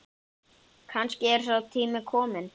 Kannski er sá tími kominn.